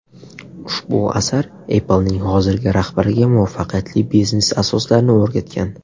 Ushbu asar Apple’ning hozirgi rahbariga muvaffaqiyatli biznes asoslarini o‘rgatgan.